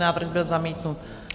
Návrh byl zamítnut.